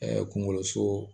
kungolo so